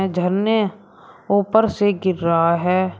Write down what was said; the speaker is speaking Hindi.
झरने ऊपर से गिर रहा है।